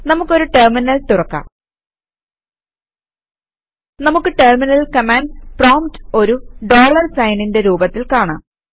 നമുക്ക് ഒരു ടെർമിനൽ തുറക്കാം നമുക്ക് ടെർമിനലിൽ കമാൻഡ്സ് പ്രോംപ്റ്റ് ഒരു ഡോളർ സൈനിന്റെ രൂപത്തിൽ കാണാം